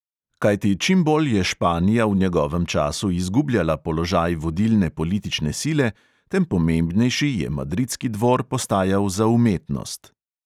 Kajti čim bolj je španija v njegovem času izgubljala položaj vodilne politične sile, tem pomembnejši je madridski dvor postajal za umetnost.